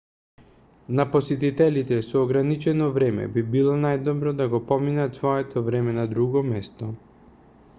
на посетителите со ограничено време би било најдобро да го поминат своето време на друго место